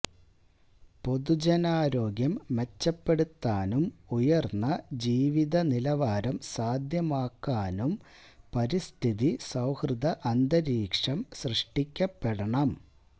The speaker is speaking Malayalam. പൊതുജനാരോഗ്യം മെച്ചപ്പെടുത്താ നും ഉയര്ന്ന ജീവിതനിലവാരം സാധ്യമാക്കാനും പരിസ്ഥിതി സൌഹൃദ അന്തരീക്ഷംസൃഷ്ടിക്കപ്പെടണം